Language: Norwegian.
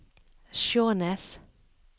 Skjånes